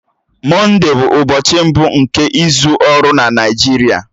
Mọnde bụ ụbọchị mbụ nke izu ọrụ na Naịjirịa.